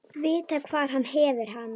Vita hvar hann hefði hana.